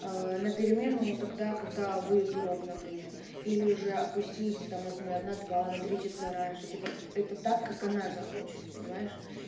на перемену тогда когда будет урок например или же отпустить там например на два на три часа раньше типа это так как она захочет понимаешь